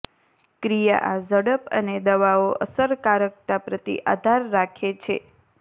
ક્રિયા આ ઝડપ અને દવાઓ અસરકારકતા પ્રતિ આધાર રાખે છે